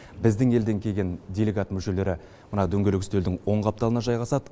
біздің елден келген делегат мүшелері мына дөңгелек үстелдің оң қапталына жайғасады